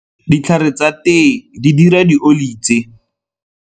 Ditlhare tsa tee di dira dioli tse.